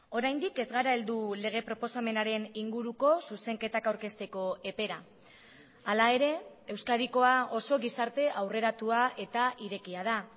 oraindik ez gara heldu lege proposamenaren inguruko zuzenketak aurkezteko epera hala ere euskadikoa oso gizarte aurreratua eta irekia da